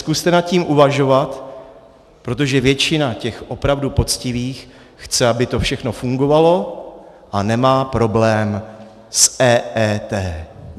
Zkuste nad tím uvažovat, protože většina těch opravdu poctivých chce, aby to všechno fungovalo, a nemá problém s EET.